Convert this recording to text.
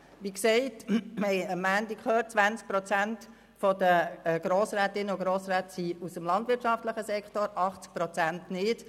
Wir haben es am Montag gehört: 20 Prozent der Grossrätinnen und Grossräte kommen aus dem landwirtschaftlichen Sektor, 80 Prozent nicht.